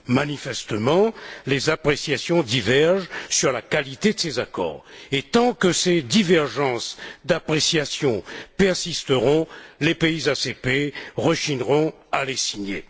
Manifestement, les appréciations divergent sur la qualité de ces accords, et tant que ces divergences d'appréciation persisteront, les pays ACP rechigneront à les signer.